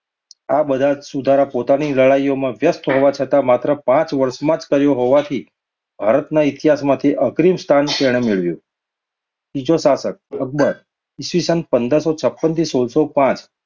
આ બધા જ સુધારા પોતાની લડાઈઓમાં વ્યસ્ત હોવા છતાં માત્ર પાંચ જ વર્ષમાં કર્યા હોવાથી ભારતના ઇતિહાસમાં તેણે અગ્રીમ સ્થાન મેળવ્યું. ત્રીજો સાર્થક અકબર ઈ. સ. પંદરસો છાપનથી સોળસોપાંચ